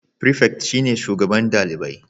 Prefect shine shugaban dalibai